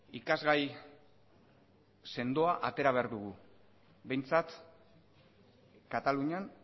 ikasgai sendoa atera behar dugu behintzat katalunian